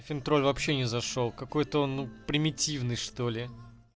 вообще не зашёл какой-то он примитивный что ли